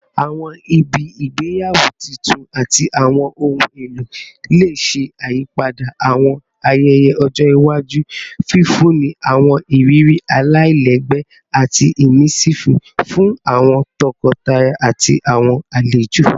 Awọn ibi igbeyawo tuntun ati awọn ohun elo le ṣe iyipada awọn ayẹyẹ ọjọ iwaju, fifunni awọn iriri alailẹgbẹ ati immersive fun awọn tọkọtaya ati awọn alejo